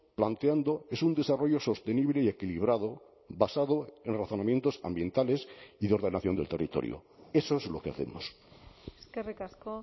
planteando es un desarrollo sostenible y equilibrado basado en razonamientos ambientales y de ordenación del territorio eso es lo que hacemos eskerrik asko